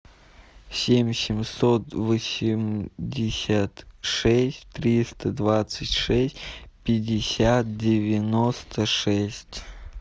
семь семьсот восемьдесят шесть триста двадцать шесть пятьдесят девяносто шесть